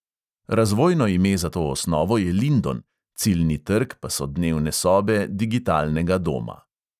Razvojno ime za to osnovo je lindon, ciljni trg pa so dnevne sobe digitalnega doma.